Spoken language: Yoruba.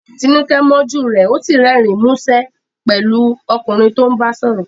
Tinuke mọ́jú rẹ, ó sì rẹ́rìn-ín músẹ́ pẹ̀lú ọkùnrin tó ń bá sọ̀rọ̀.